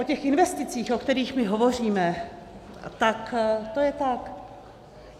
O těch investicích, o kterých my hovoříme, tak to je ta...